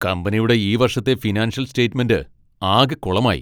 കമ്പനിയുടെ ഈ വർഷത്തെ ഫിനാൻഷ്യൽ സ്റ്റേറ്റ്മെൻ്റ് ആകെ കുളമായി .